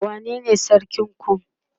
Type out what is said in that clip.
wane ne sarkin ku?